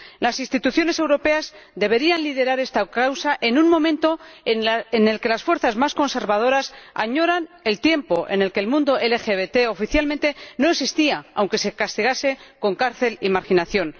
Las instituciones europeas deberían liderar esta causa en un momento en el que las fuerzas más conservadoras añoran el tiempo en el que el mundo LGBT oficialmente no existía, aunque se castigase con cárcel y marginación.